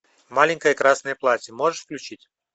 маленькое красное платье можешь включить